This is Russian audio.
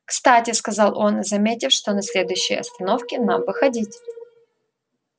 кстати сказал он заметив что на следующей остановке нам выходить